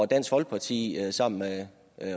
dansk folkeparti har sammen med